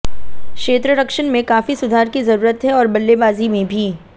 क्षेत्ररक्षण में काफी सुधार की जरूरत है और बल्लेबाजी में भी